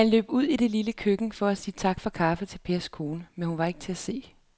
Han løb ud i det lille køkken for at sige tak for kaffe til Pers kone, men hun var ikke til at se.